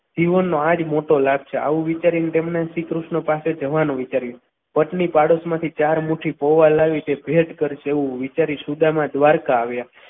જીવનનો આ જ મોટો લાભ છે આવું વિચારીને તેમને શ્રીકૃષ્ણ પાસે જવાનું વિચાર્યું બદલી પાડોશી માંથી ચાર મુઠી પૌવા લાવી તે ભેટકર એવું વિચારી સુદામા દ્વારકા આવ્યા.